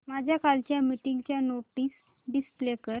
माझ्या कालच्या मीटिंगच्या नोट्स डिस्प्ले कर